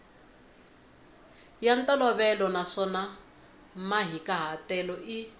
ya ntolovelo naswona mahikahatelo i